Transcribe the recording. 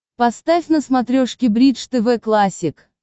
поставь на смотрешке бридж тв классик